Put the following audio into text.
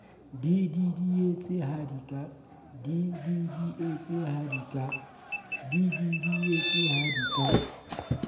di didietse ha di ka